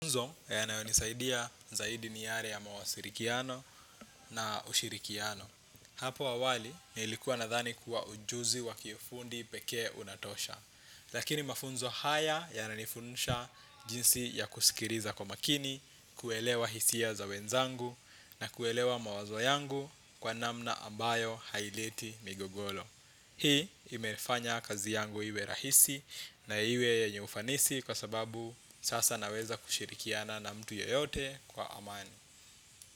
Mafunzo yanayonisaidia zaidi ni yale ya mawasiliano na ushirikiano hapo awali, nilikuwa nadhani kuwa ujuzi wakifundi pekee unatosha lakini mafunzo haya yananifundisha jinsi ya kusikiliza kwa makini, kuelewa hisia za wenzangu na kuelewa mawazo yangu kwa namna ambayo haileti migogoro hii imefanya kazi yangu iwe rahisi na iwe yenye ufanisi kwa sababu sasa naweza kushirikiana na mtu yoyote kwa amani.